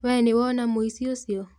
We nĩwona mũici ũcio